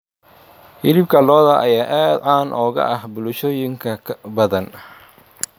Hilibka lo'da ayaa aad caan uga ah bulshooyin badan.